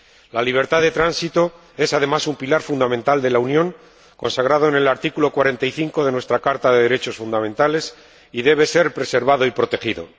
La libertad de tránsito es, además, un pilar fundamental de la Unión, consagrado en el artículo 45 de nuestra Carta de los Derechos Fundamentales, y debe ser preservado y protegido.